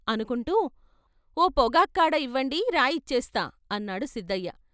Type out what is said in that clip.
అనుకుంటూ 'ఓ పొగాక్కాడ ఇవ్వండి రాయి ఇచ్చేస్తా' అన్నాడు సిద్దయ్య.